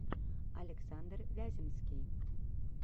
александр вяземский